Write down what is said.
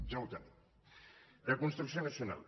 ja ho tenim de construcció nacional